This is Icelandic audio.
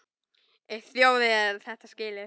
Á þjóðin þetta skilið?